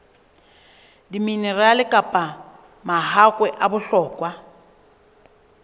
diminerale kapa mahakwe a bohlokwa